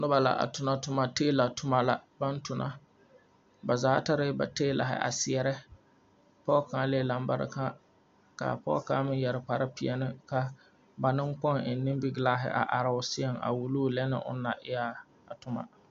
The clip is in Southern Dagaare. Noba la a tona toma teela toma la baŋ tona ba zaa tare la teelahi a seɛrɛ pɔge kaŋalee lambareka ka a pɔge kaŋa meŋ yɛre kparre peɛne ka ba neŋkpoŋ eŋ nimingelaahi a seɛŋ a wulo o lɛ onaŋ na e a toma.